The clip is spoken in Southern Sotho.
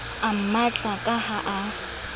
a mmatla ka ha a